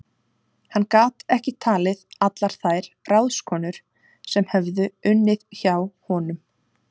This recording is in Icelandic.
Hann gat ekki talið allar þær ráðskonur sem höfðu unnið hjá honum.